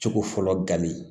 Cogo fɔlɔ gali